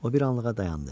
O bir anlığa dayandı.